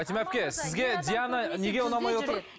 фатима әпке сізге диана неге ұнамай отыр